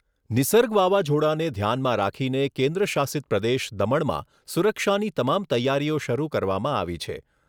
નિર્સગ વાવાઝોડાને ધ્યાનમાં રાખીને કેન્દ્ર શાસિતપ્રદેશ દમણમાં સુરક્ષાની તમામ તૈયારીઓ શરૂ કરવામાં આવી છે.